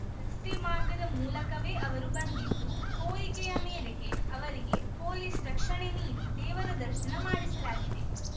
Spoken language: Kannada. ರಸ್ತೆ ಮಾರ್ಗದ ಮೂಲಕವೇ ಅವರು ಬಂದಿದ್ದು ಕೋರಿಕೆಯ ಮೇರೆಗೆ ಅವರಿಗೆ ಪೊಲೀಸ್‌ ರಕ್ಷಣೆ ನೀಡಿ ದೇವರ ದರ್ಶನ ಮಾಡಿಸಲಾಗಿದೆ